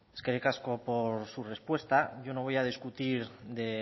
eskerrik asko por su respuesta yo no voy a discutir de